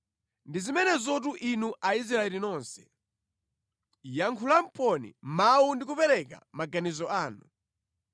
Ndi zimenezotu inu Aisraeli nonse; yankhulaponi mawu ndi kupereka maganizo anu.”